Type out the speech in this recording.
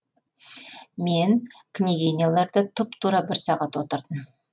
мен княгиняларда тұп тура бір сағат отырдым